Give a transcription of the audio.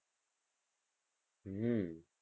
હમ